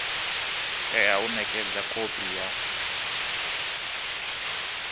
tea u nekedzwa khophi ya